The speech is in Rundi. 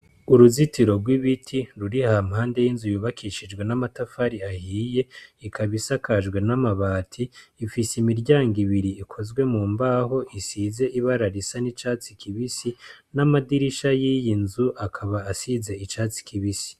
Uruzitiro rw'ibiti ruri hampande y'inzu yubakishijwe n'amatafari ahiye, ikaba isakajwe n'amabati. Ifise imiryango ibiri ikozwe mu mbaho isize ibara risa n'icatsi kibisi n'amadirisha y'iyi nzu akaba asize icatsi kibisi.